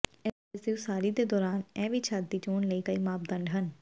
ਇਸ ਦੇ ਉਸਾਰੀ ਦੇ ਦੌਰਾਨ ਇਹ ਵੀ ਛੱਤ ਦੀ ਚੋਣ ਲਈ ਕਈ ਮਾਪਦੰਡ ਹਨ